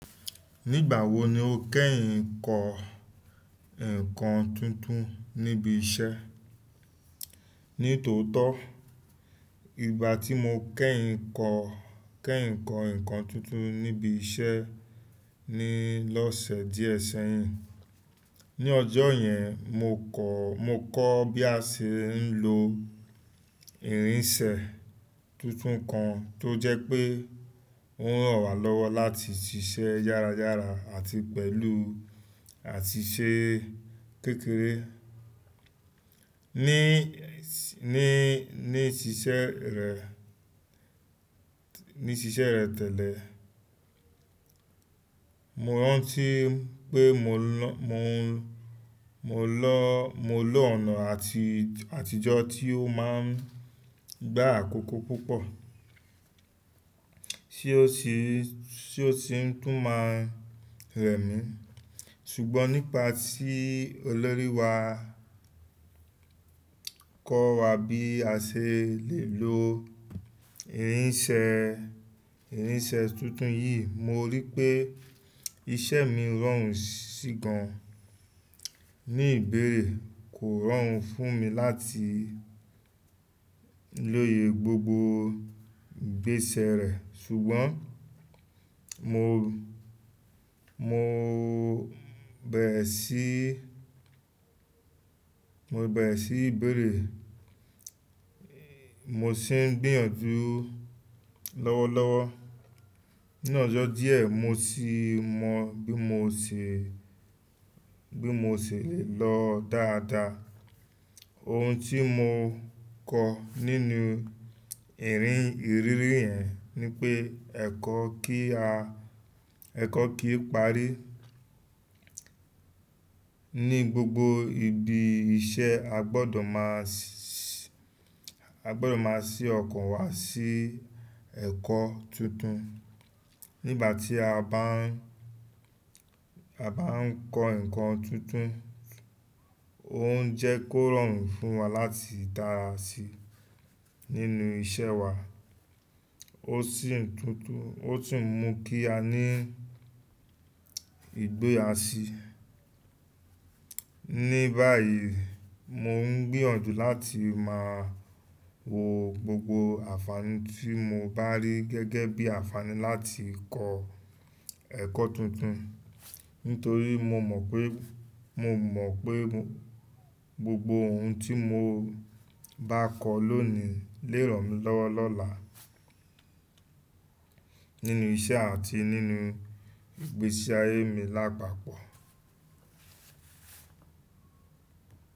Nígbà wo ni o kẹ́yìn ń kọ ǹkan tuntun níbi iṣẹ́? Ní tòótọ́, ìgbà tí mo kẹ́yìn ń kọ ǹkan tuntun níbi iṣẹ́ ni lọ́sẹ̀ díẹ̀ sẹ́yìn. Ní ọjọ́ yẹn, mo kọ́ bí a ṣe ń lo irinṣẹ́ tuntun kan tó jẹ́ pé ó ràn wá lọ́wọ́ láti ṣiṣẹ́ yára yára àti pẹ̀lú àti ṣe kékeré. Ní, ní, ní ṣiṣẹ́ rẹ̀, ní ṣiṣẹ́ rẹ̀ tẹ́lẹ̀, mo rántí pé mo lọ, mo lọ, mo lo ọ̀nà àtijọ́ tí ó máa ń gbá àkókò púpọ̀ tí ó sì ń tún máa ń rẹ̀ mí. Ṣùgbọ́n nípa tíí olórí wa kọ́ wa bí a ṣe lè lo irinṣẹ́, irinṣẹ́ tuntun yìí, mo rí pé iṣẹ́ mi rọrùn sí gan. Ní ìbẹ̀rẹ̀ kò rọrùn fún mi láti lóye gbogbo ìgbésẹ̀ rẹ̀, ṣùgbọ́n mo, mo bẹ̀rẹ̀ sí, mo bẹ̀rẹ̀ sí ìbẹ̀rẹ̀, mo sì ń gbìyànjú lọ́wọ́lọ́wọ́. Ní ọjọ́ díẹ̀, mo sì mọ bí mo ṣe lè lọ dáadáa. Ohun tí mo kọ nínú ìrì ìrírí yẹn ni pé ẹ̀kọ́ kí á ẹ̀kọ́ kì í parí. Ní gbogbo ibi iṣẹ́ a gbọdọ̀ máa sí ọkàn wa sí ẹ̀kọ́ tuntun. Nígbà tí a bá ń a bá ń kọ ǹkan tuntun, òun jẹ́ kó rọrùn fún wa láti dára sí nínú iṣẹ́ wa. Ó tún ń mú kí a ní ìgboyà sí. Ní báyìí, mò ń gbìyànjú láti máa wo gbogbo àǹfààní tí mo bá rí gẹ́gẹ́ bíi àǹfààní láti kọ ẹ̀kọ́ tuntun. Nítorí mo mọ̀ pé gbogbo ohun tí mo bá kọ lónìí lè ràn mí lọ́wọ́ lọ́la nínú iṣẹ́ àti nínú ìgbésí ayé mi lápapọ̀.